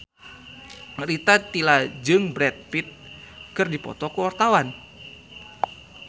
Rita Tila jeung Brad Pitt keur dipoto ku wartawan